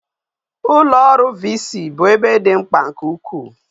Ulo oru VC bu ebe di mkpa nke ukwu